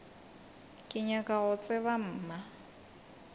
ke nyaka go tseba mma